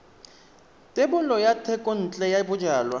thebolo ya thekontle ya bojalwa